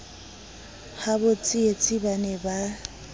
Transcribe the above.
habo tsietsi ba ne ba